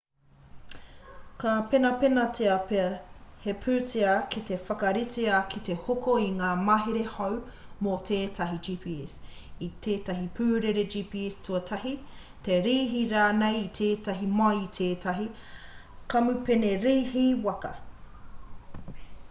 ka penapenatia pea he pūtea ki te whakaritea ki te hoko i ngā mahere hou mō tētahi gps i tētahi pūrere gps tūtahi te rīhi rānei i tētahi mai i tētahi kamupene rīhi waka